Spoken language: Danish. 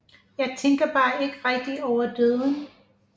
Jeg tænker bare ikke rigtigt over døden